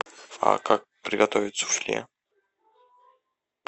а как приготовить суфле